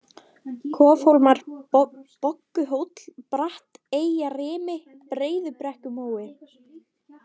Kofhólmar, Bogguhóll, Bratteyjarrimi, Breiðubrekkumói